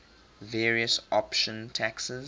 various option taxes